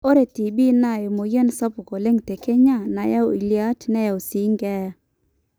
ore tb naa emweyian sapuk oleng te kenya nayau ileyiat neyau sii keeya